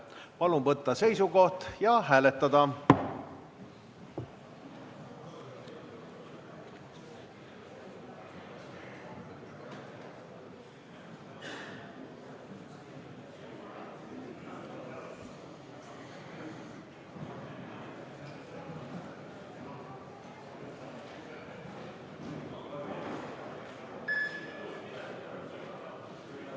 Palun võtta seisukoht ja hääletada!